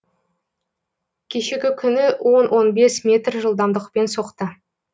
кешегі күні он он бес метр жылдамдықпен соқты